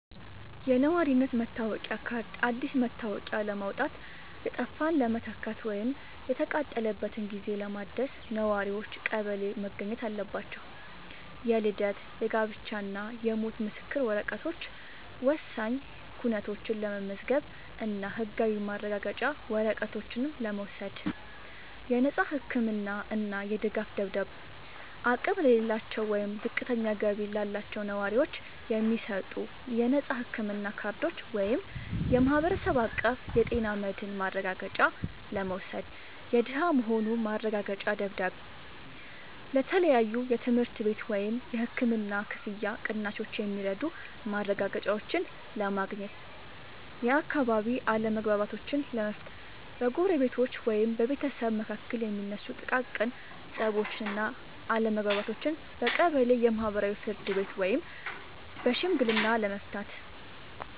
የነዋሪነት መታወቂያ ካርድ፦ አዲስ መታወቂያ ለማውጣት፣ የጠፋን ለመተካት ወይም የተቃጠለበትን ጊዜ ለማደስ ነዋሪዎች ቀበሌ መገኘት አለባቸው። የልደት፣ የጋብቻ እና የሞት ምስክር ወረቀቶች፦ ወሳኝ ኩነቶችን ለመመዝገብ እና ህጋዊ ማረጋገጫ ወረቀቶችን ለመውሰድ። የነፃ ህክምና እና የድጋፍ ደብዳቤዎች፦ አቅም ለሌላቸው ወይም ዝቅተኛ ገቢ ላላቸው ነዋሪዎች የሚሰጡ የነፃ ህክምና ካርዶችን (የማህበረሰብ አቀፍ ጤና መድህን ማረጋገጫ) ለመውሰድ። የደሃ መሆኑ ማረጋገጫ ደብዳቤ፦ ለተለያዩ የትምህርት ቤት ወይም የህክምና ክፍያ ቅናሾች የሚረዱ ማረጋገጫዎችን ለማግኘት። የአካባቢ አለመግባባቶችን ለመፍታት፦ በጎረቤቶች ወይም በቤተሰብ መካከል የሚነሱ ጥቃቅን ፀቦችን እና አለመግባባቶችን በቀበሌ የማህበራዊ ፍርድ ቤት ወይም በሽምግልና ለመፍታት።